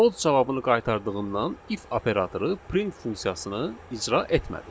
False cavabını qaytardığından if operatoru print funksiyasını icra etmədi.